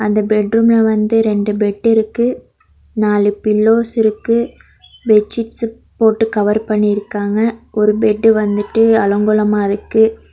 அந்த பெட்ரூம்ல வந்து ரெண்டு பெட்டு இருக்கு நாலு பில்லோஸ் இருக்கு பெட்சிட்ஸ் போட்டு கவர் பண்ணிருக்காங்க ஒரு பெட்டு வந்துட்டு அலங்கோலமா இருக்கு.